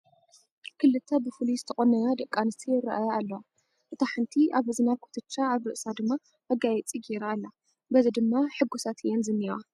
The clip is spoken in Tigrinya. ክልተ ብፍሉይ ዝተቖነና ደቂ ኣንስትዮ ይርአያ ኣለዋ፡፡ እታ ሓንቲ ኣብ እዝና ኩትቻ ኣብ ርእስ ድማ መጋየፂ ገይራ ኣላ፡፡ በዚ ድማ ሕጉሳት እየን ዝኔዋ፡፡